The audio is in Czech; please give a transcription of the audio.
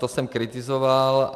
To jsem kritizoval.